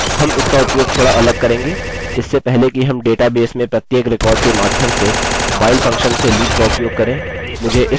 अब हम इसका उपयोग थोड़ा अलग करेंगे इससे पहले कि हम डेटा बेस में प्रत्येक रिकार्ड के माध्यम से while फंक्शन से लूप का उपयोग करें